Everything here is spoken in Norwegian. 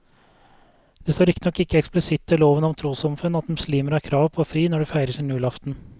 Det står riktignok ikke eksplisitt i loven om trossamfunn at muslimer har krav på fri når de feirer sin julaften.